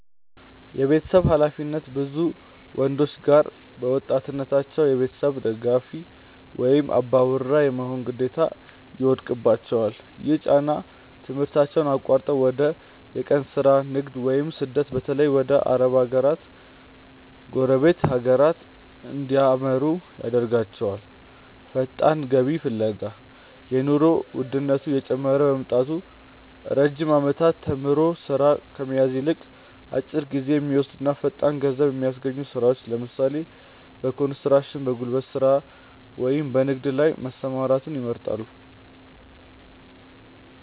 የቤተሰብ ኃላፊነት፦ ብዙ ወንዶች ገና በወጣትነታቸው የቤተሰብ ደጋፊ ወይም "አባወራ" የመሆን ግዴታ ይወድቅባቸዋል። ይህ ጫና ትምህርታቸውን አቋርጠው ወደ የቀን ሥራ፣ ንግድ ወይም ስደት (በተለይ ወደ አረብ ሀገራትና ጎረቤት ሀገራት) እንዲያመሩ ያደርጋቸዋል። ፈጣን ገቢ ፍለጋ፦ የኑሮ ውድነቱ እየጨመረ በመምጣቱ፣ ረጅም ዓመታት ተምሮ ሥራ ከመያዝ ይልቅ፣ አጭር ጊዜ በሚወስዱና ፈጣን ገንዘብ በሚያስገኙ ሥራዎች (ለምሳሌ፦ በኮንስትራክሽን፣ በጉልበት ሥራ ወይም በንግድ) ላይ መሰማራትን ይመርጣሉ።